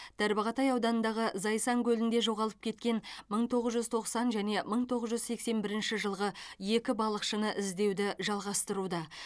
тарбағатай ауданындағы зайсан көлінде жоғалып кеткен мың тоғыз жүз тоқсан және мың тоғыз жүз сексен бірінші жылғы екі балықшыны іздеуді жалғастыруда